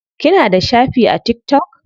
Kina da shafi a tiktok?